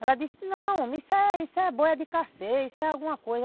Ela disse, não homem, isso é boia de carceia, isso é alguma coisa.